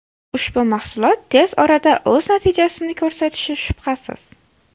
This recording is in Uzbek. Ushbu mahsulot tez orada o‘z natijasini ko‘rsatishi shubhasiz.